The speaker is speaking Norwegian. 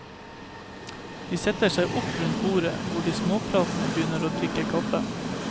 De setter seg opp rundt bordet, hvor de småpratende begynner å drikke kaffe.